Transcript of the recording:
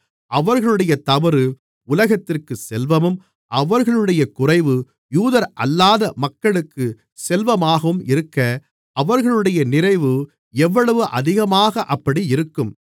அவர்களுடைய தவறு உலகத்திற்கு செல்வமும் அவர்களுடைய குறைவு யூதரல்லாத மக்களுக்கு செல்வமாகவும் இருக்க அவர்களுடைய நிறைவு எவ்வளவு அதிகமாக அப்படியிருக்கும்